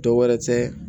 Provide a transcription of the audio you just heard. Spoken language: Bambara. Dɔ wɛrɛ tɛ